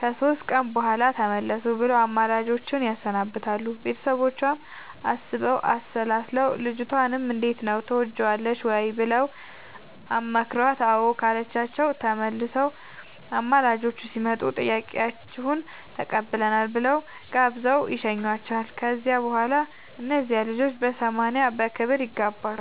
ከሶስት ቀን በኋላ ተመለሱ ብለው አማላጆቹን ያሰናብታሉ ቤተሰቦቿም አስበው አሠላስለው ልጅቷንም እንዴት ነው ትወጅዋለሽ ወይ ብለው አማክረዋት አዎ ካለቻቸው ተመልሰው አማላጆቹ ሲመጡ ጥያቄያችሁን ተቀብለናል ብለው ጋብዘው ይሸኙዋቸዋል ከዚያ በኋላ እነዚያ ልጆች በሰማንያ በክብር ይጋባሉ።